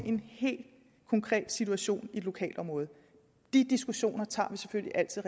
en helt konkret situation i et lokalområde de diskussioner tager vi selvfølgelig altid